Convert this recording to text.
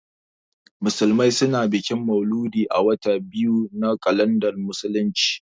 Musulmai su na bikin mauludi a watan biyu na kalandar musulunci